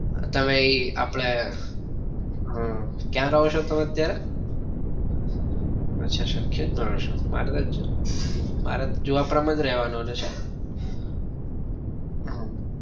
તમે ઈ આપડે હમ ક્યાં રહો છો તમે અત્યારે? અચ્છા સરખેજ માં રહો છો મારે કદાચ મારે જુહાપુરા માં જ રેવાનું આવાનું છે. હમ